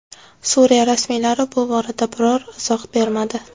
Suriya rasmiylari bu borada biror izoh bermadi.